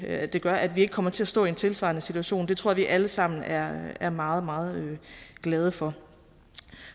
at det gør at vi ikke kommer til at stå i en tilsvarende situation det tror jeg at vi alle sammen er er meget meget glade for